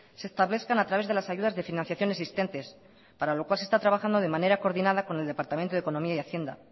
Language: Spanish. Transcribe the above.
se establezcan a través de las ayudas de financiación existentes para lo cual se está trabajando de manera coordinada con el departamento de economía y hacienda